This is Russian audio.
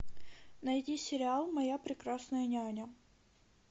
найди сериал моя прекрасная няня